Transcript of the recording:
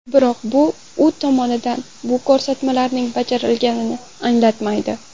Biroq, bu u tomonidan bu ko‘rsatmalarining bajarilganini anglatmaydi.